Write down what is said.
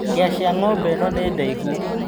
Hĩa cia ng'ombe ĩno nĩ ndaihu.